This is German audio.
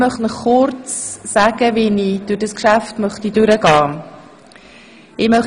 Ich möchte Ihnen kurz erläutern, wie ich dieses Geschäft beraten lassen möchte.